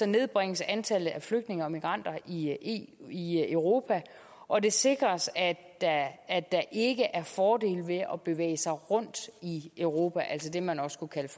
nedbringes antallet af flygtninge og migranter i i europa og det sikres at at der ikke er fordele ved at bevæge sig rundt i europa altså det man også kunne kalde